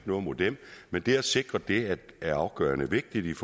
noget imod dem men det at sikre det er afgørende vigtigt